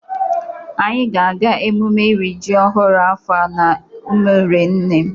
Anyị ga-aga emume iri ji ọhụrụ afọ a n'umere nne m.